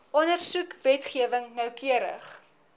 ondersoek wetgewing noukeurig